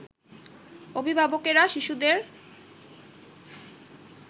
অভিভাবকেরা শিশুদের